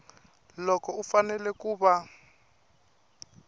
loko u fanele ku va